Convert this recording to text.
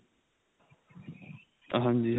ਹਾਂਜੀ